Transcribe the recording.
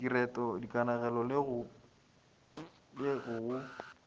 direto dikanegelo le go go